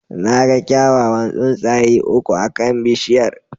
Na ga kyawawan tsuntsaye uku akan bishiyar.